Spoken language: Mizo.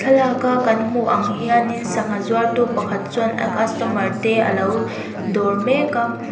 thlalak a kan hmu ang hianin sangha zuartu pakhat chuan a customer te alo dawr mek a.